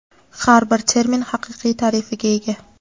Har bir termin haqiqiy ta’rifiga ega.